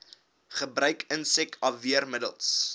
gebruik insek afweermiddels